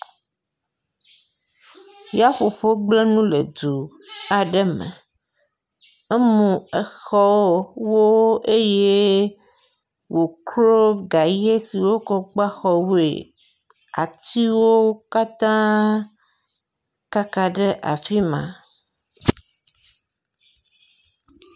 Yaƒoƒo gblẽ nu le du aɖe me, emu exɔwo eye wòklo gaye si wokɔ gba xɔwoe. Atiwo katã kaka ɖe afi ma.